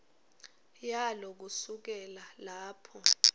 yalo kusukela lapho